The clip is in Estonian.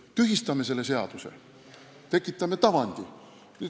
Kas tühistame selle seaduse ja tekitame tavandi?